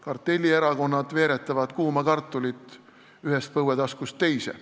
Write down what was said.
Kartellierakonnad veeretavad kuuma kartulit ühest põuetaskust teise.